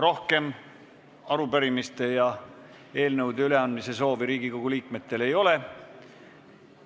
Rohkem arupärimiste ja eelnõude üleandmise soovi Riigikogu liikmetel ei ole.